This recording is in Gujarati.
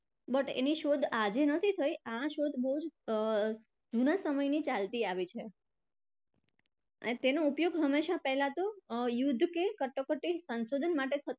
but એની શોધ આજે નથી થઇ આ શોધ અર બહુ જ જુના સમયથી ચાલતી આવી છે અને તેનો ઉપયોગ હંમેશા પહેલા તો અર યુદ્ધ કે કટોકટી સંશોધન માટે થતો